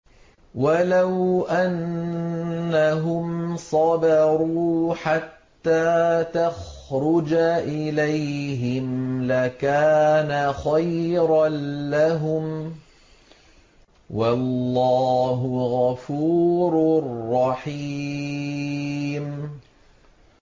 وَلَوْ أَنَّهُمْ صَبَرُوا حَتَّىٰ تَخْرُجَ إِلَيْهِمْ لَكَانَ خَيْرًا لَّهُمْ ۚ وَاللَّهُ غَفُورٌ رَّحِيمٌ